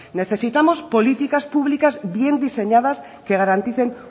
necesitamos políticas públicas bien diseñadas que garanticen